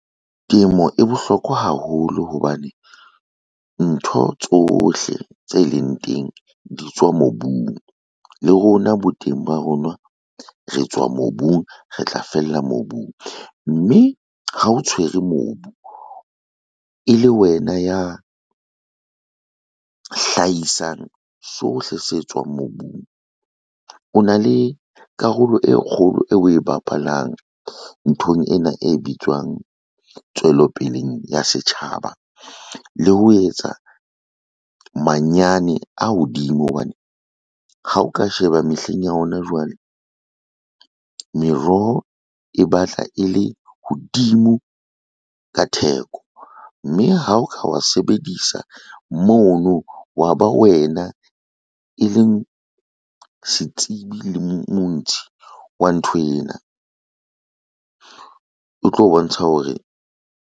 Temo e bohlokwa haholo hobane ntho tsohle tse leng teng di tswa mobung. Le rona bo teng ba rona re tswa mobung, re tla fella mobung, mme ha o tshwere mobu e le wena ya hlahisang, sohle se tswang mobung o na le karolo e kgolo eo o e bapalang nthong ena, e bitswang tswelopeleng ya setjhaba. Le ho etsa manyane a hodimo hobane ha o ka sheba mehleng ya hona jwale, meroho e batla e le hodimo ka theko, mme ha o ka wa sebedisa mono wa ba wena, e leng setsebi le montshi wa ntho ena o tlo bontsha hore.